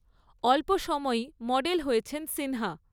অল্প সময়েই মডেল হয়েছেন সিনহা।